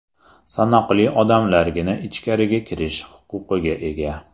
Sanoqli odamlargina ichkariga kirish huquqiga ega.